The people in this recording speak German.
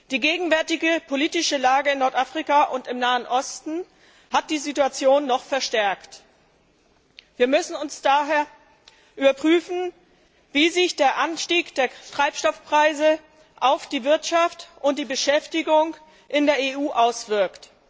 Die gegenwärtige politische Lage in Nordafrika und im Nahen Osten hat die Situation noch verschärft. Wir müssen daher überprüfen, wie sich der Anstieg der Treibstoffpreise auf die Wirtschaft und die Beschäftigung in der EU auswirkt.